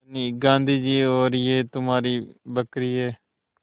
धनी गाँधी जी और यह तुम्हारी बकरी है